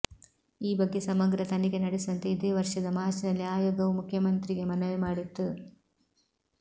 ಈ ಬಗ್ಗೆ ಸಮಗ್ರ ತನಿಖೆ ನಡೆಸುವಂತೆ ಇದೇ ವರ್ಷದ ಮಾರ್ಚ್ನಲ್ಲಿ ಆಯೋಗವು ಮುಖ್ಯಮಂತ್ರಿಗೆ ಮನವಿ ಮಾಡಿತ್ತು